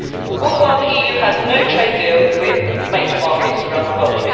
All the while the EU has no trade deal with major markets around the world.